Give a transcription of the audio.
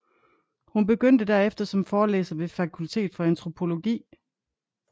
Hun begyndte derefter som forelæser ved Fakultet for antropologi